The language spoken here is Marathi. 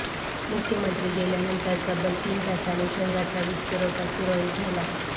मुख्यमंत्री गेल्यानंतर तब्बल तीन तासाने शहराचा वीजपुरवठा सुरळीत झाला